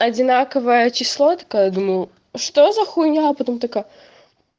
одинаковое число такая думаю что за хуйня потом такая